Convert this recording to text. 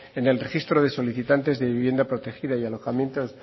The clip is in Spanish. en el registro de solicitantes de vivienda protegida y alojamientos